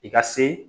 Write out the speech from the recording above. I ka se